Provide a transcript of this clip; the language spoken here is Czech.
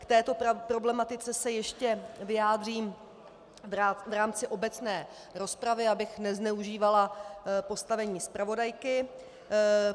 K této problematice se ještě vyjádřím v rámci obecné rozpravy, abych nezneužívala postavení zpravodajky.